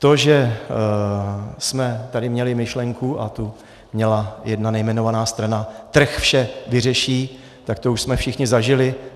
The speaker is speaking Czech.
To, že jsme tady měli myšlenku, a tu měla jedna nejmenovaná strana, trh vše vyřeší, tak to už jsme všichni zažili.